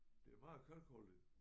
Det er meget kalkholdigt